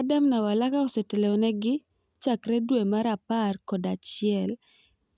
Adam Nawalka osetelo negi chakre dwe mar apar kod achiel